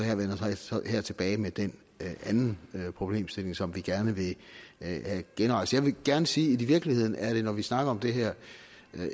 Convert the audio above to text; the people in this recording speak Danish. tilbage med den anden problemstilling som vi gerne vil genrejse jeg vil gerne sige at i virkeligheden er det når vi snakker om det her